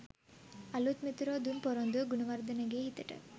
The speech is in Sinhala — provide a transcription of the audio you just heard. අලුත් මිතුරා දුන් පොරොන්දුව ගුණවර්ධනගේ හිතට